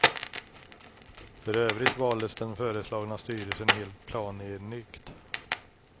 För övrigt valdes den föreslagna styrelsen helt planenligt.